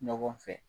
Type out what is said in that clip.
Ɲɔgɔn fɛ